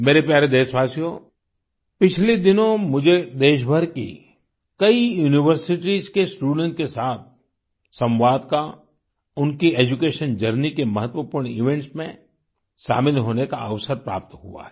मेरे प्यारे देशवासियो पिछले दिनों मुझे देशभर की कई यूनिवर्सिटीज के स्टूडेंट्स के साथ संवाद का उनकी एड्यूकेशन जर्नी के महत्वपूर्ण इवेंट्स में शामिल होने का अवसर प्राप्त हुआ है